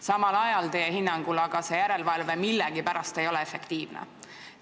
Samal ajal ei ole see järelevalve teie hinnangul millegipärast efektiivne.